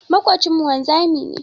Maƙocinmu wanzami ne.